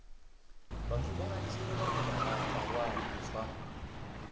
vhathu vhanzhi vhane vha lwadzwa